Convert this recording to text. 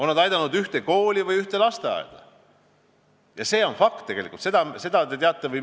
Need on aidanud koole või lasteaedu, seda me teame kõik.